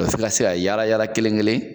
fo i ka se a yaala yaala kelen-kelen